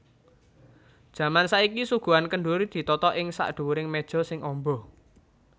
Jaman saiki suguhan kendhuri ditata ing sakdhuwuring méja sing amba